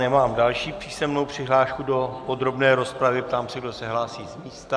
Nemám další písemnou přihlášku do podrobné rozpravy, ptám se, kdo se hlásí z místa.